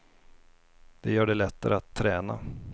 Det gör det lättare att träna.